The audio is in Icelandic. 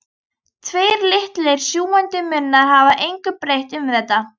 Tveir litlir sjúgandi munnar hafa engu breytt um þetta.